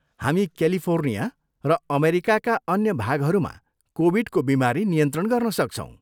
हामी क्यालिफोर्निया र अमेरिकाका अन्य भागहरूमा कोभिडको बिमारी नियन्त्रण गर्न सक्छौँ।